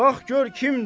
Bax gör kimdir.